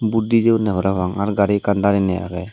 vot di jeyonne parabang ar gari ekkan darenei agey.